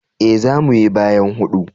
E, za mu yi bayan hudu.